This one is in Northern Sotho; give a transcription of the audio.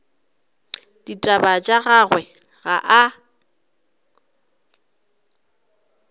ditaba tša gagwe ga a